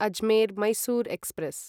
Ajmer Mysore express